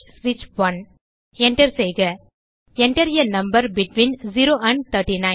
Enter செய்க Enter ஆ number between 0 and 39